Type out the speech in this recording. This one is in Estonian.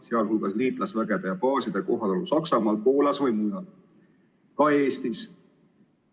Pean silmas liitlasvägede baase Saksamaal, Poolas ja mujal, ka Eestis?